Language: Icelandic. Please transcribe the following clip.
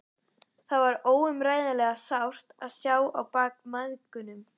Það var óumræðilega sárt að sjá á bak mæðgunum.